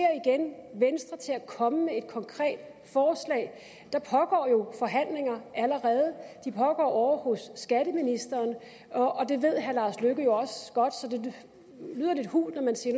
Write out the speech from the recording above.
venstre til at komme med et konkret forslag der pågår jo forhandlinger ovre hos skatteministeren og det ved herre lars løkke rasmussen jo også godt så det lyder lidt hult når man siger